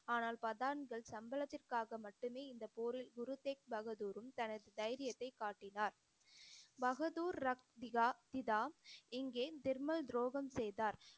ஆனால் பதான்கள் சம்பளத்திற்காக மட்டுமே இந்த போரில் குரு தேக் பகதூரும் தனது தைரியத்தைக் காட்டினார் பகதூர் ரக்திகா பிதா இங்கே திருமல் துரோகம் செய்தார்